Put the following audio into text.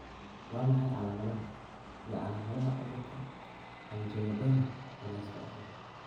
Waa maxay calaamadaha iyo calaamadaha cudurka anjioedema ee la iska dhaxlo?